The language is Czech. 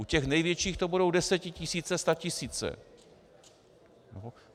U těch největších to budou desetitisíce, statisíce.